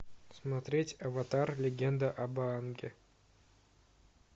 смотреть аватар легенда об аанге